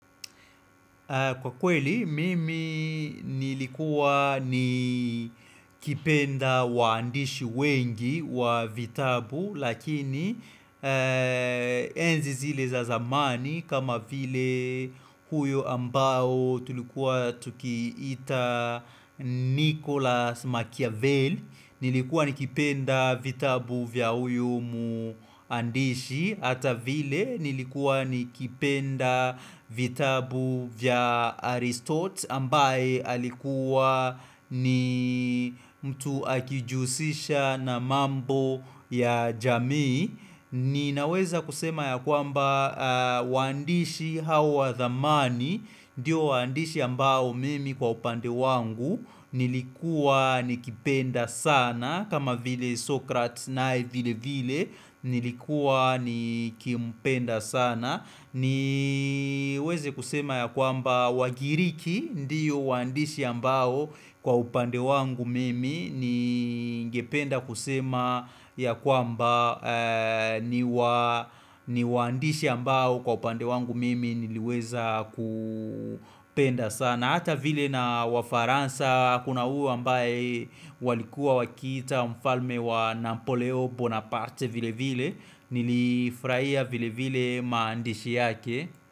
Kwa kweli, mimi nilikua nikipenda waandishi wengi wa vitabu Lakini enzi zile za zamani kama vile huyo ambao tulikuwa tukiita Nicholas Machiavelli Nilikuwa nikipenda vitabu vya huyo mwandishi Hata vile nilikuwa nikipenda vitabu vya Aristote ambaye alikuwa ni mtu akijusisha na mambo ya jamii Ninaweza kusema ya kwamba waandishi hawa wa dhamani Ndiyo waandishi ambao mimi kwa upande wangu nilikuwa nikipenda sana kama vile Sokrates naye vile vile nilikuwa nikimpenda sana niweze kusema ya kwamba wagiriki ndio waandishi ambao kwa upande wangu mimi ni ngependa kusema ya kwamba ni waandishi ambao kwa upande wangu mimi niliweza kupenda sana. Hata vile na wa Faransa, kuna huyu ambaye walikuwa wakiita mfalme wa Nampoleo Bonaparte vile vile, nilifurahia vile vile maandishi yake.